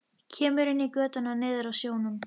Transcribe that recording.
Kemur inn í götuna niður að sjónum.